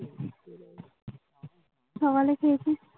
সকালে খেয়েছিস